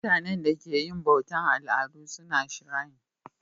Mutanenda ke yin bautan aladu suna shirayi